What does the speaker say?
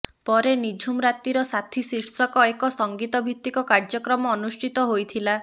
ପରେ ନିଝୁମ୍ ରାତିର ସାଥୀ ଶୀର୍ଷକ ଏକ ସଙ୍ଗୀତ ଭିତିକ କାର୍ଯ୍ୟକ୍ରମ ଅନୁଷ୍ଠିତ ହୋଇଥିଲା